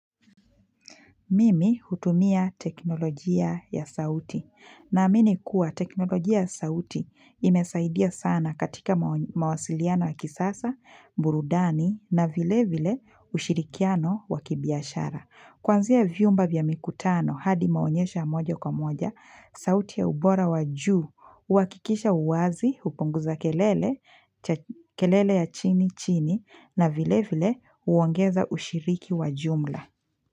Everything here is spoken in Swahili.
Mimi hutumia teknolojia ya sauti. Na amini kuwa teknolojia ya sauti inasaidia sana katika mawasiliano ya kisasa, burudani na vilevile ushirikiano wakibiashara. Kwanzia vyumba vya mikutano hadi maonyesha ya mojo kwa moja, sauti ya ubora wa juu, uakikisha uwazi, upunguza kelele, kelele ya chini chini na vilevile uongeza ushiriki wa jumla.